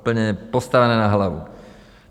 Úplně postavené na hlavu.